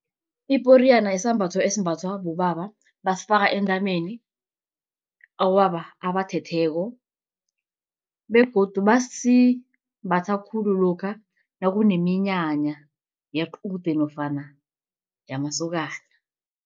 Iporiyana sisambatho esimbathwa bobaba basifaka entameni, abobaba abathetheko begodu basimbatha khulu lokha nakuneminyanya yequde nofana yamasokana.